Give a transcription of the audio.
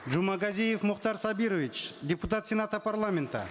жумагазиев мухтар сабирович депутат сената парламента